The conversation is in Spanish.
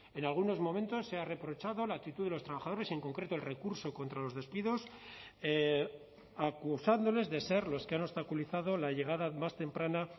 en algunos momentos se ha reprochado la actitud de los trabajadores en concreto el recurso contra los despidos acusándoles de ser los que han obstaculizado la llegada más temprana